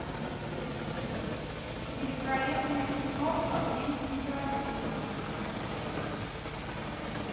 великолепная семерка квентина тарантино